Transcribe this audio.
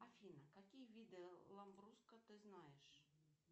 афина какие виды ламбруско ты знаешь